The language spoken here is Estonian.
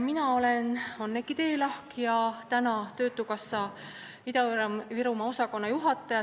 Mina olen Anneki Teelahk ja töötan töötukassa Ida-Virumaa osakonna juhatajana.